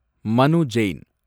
மனு ஜெயின்